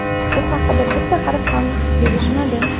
bu haqida bitta harf ham yozishmadi.